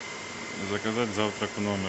заказать завтрак в номер